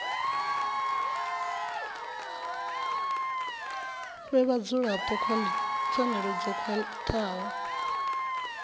fhe vhadzulapo pfanelo dzo khwathaho